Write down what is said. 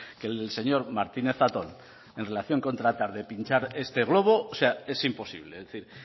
que el señor martínez zatón en relación con tratar de pinchar este globo o sea es imposible es decir